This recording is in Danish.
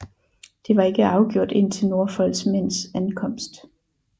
Det var ikke afgjort indtil Norfolks mænds ankomst